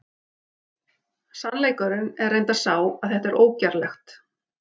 Sannleikurinn er reyndar sá að þetta er ógerlegt!